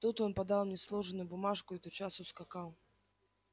тут он подал мне сложенную бумажку и тотчас ускакал